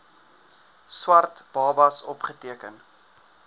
swart babas opgeteken